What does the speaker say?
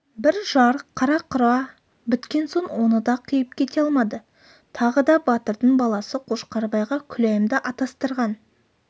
бір-жар қара-құра біткен соң оны да қиып кете алмады тағы да батырдың баласы қошқарбайға күләйімді атастырған